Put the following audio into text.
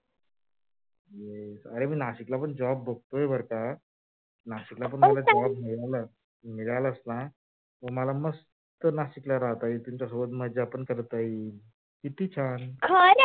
yes अरे मी नाशिकला पण job बघतोय बर का नाशिकला पण मला job मिळालाच ना तर मला मस्त नाशिकला राहता येईल तुमच्यासोबत मजा पण करता येईल किती छान खर?